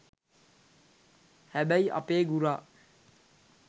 හැබැයි අපේ ගුරා